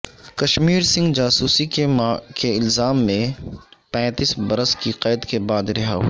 کشمیر سنگھ جاسوسی کے الزام میں پیینتس برس کی قید کے بعد رہا ہوئے